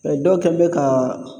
O dɔw kɛn bɛ kaa